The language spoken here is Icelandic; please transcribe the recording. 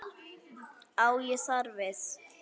Á ég þar við